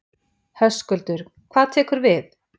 Höskuldur: Hvað tekur við?